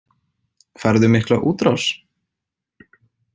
Færðu mikla útrás?